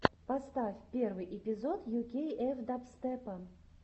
поставь первый эпизод ю кей эф дабстепа